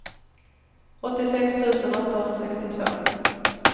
åttiosex tusen åttahundrasextiotvå